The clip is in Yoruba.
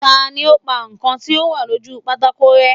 Tani ó pa nǹkan tí ó wà lójú pátákó rẹ́?